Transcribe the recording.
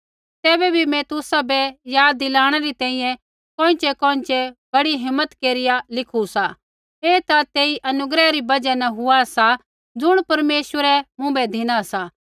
तैबै भी मैं तुसाबै याद दिलाणै री तैंईंयैं कोइँछ़ैकोइँछ़ै बड़ी हिम्मत केरिया लिखू सा ऐ ता तेई अनुग्रह री बजहा न हुआ सा ज़ुण परमेश्वरै मुँभै धिना सा